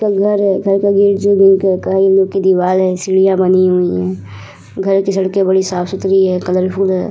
घर है। घर सीढ़िया बनी हुई हैं। घर की सड़के बड़ी साफ सुथरी हैं कलरफुल है।